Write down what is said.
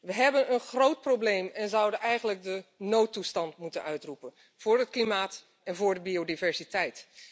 We hebben een groot probleem en zouden eigenlijk de noodtoestand moeten uitroepen, voor het klimaat en voor de biodiversiteit.